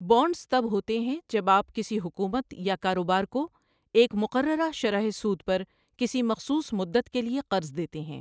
Bonds تب ہوتے ہیں جب آپ کسی حکومت یا کاروبار کو ایک مقررہ شرح سود پر کسی مخصوص مدت کے لیے قرض دیتے ہیں۔